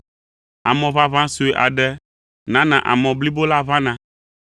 “Amɔ ʋaʋã sue aɖe nana amɔ blibo la ʋãna.”